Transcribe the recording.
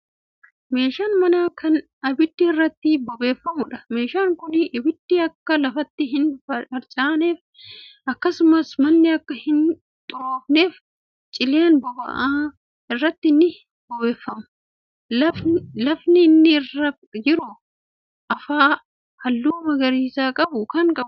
Meeshaa manaa Kan abiddi irratti bobeeffamuudha. meeshaan Kuni abiddi Akka lafatti hin harcaaneef akkasumas manni Akka Hun xuroofneef cileen boba'aa irratti ni bobeeffama. lafni inni irra jiru afaa halluu magariisa qabu Kan afameedha.